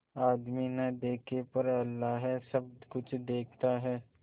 आदमी न देखे पर अल्लाह सब कुछ देखता है